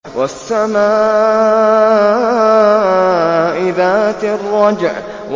وَالسَّمَاءِ ذَاتِ الرَّجْعِ